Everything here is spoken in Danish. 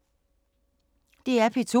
DR P2